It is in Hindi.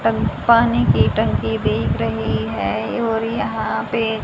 टं पानी की टंकी दिख रही है और यहां पे--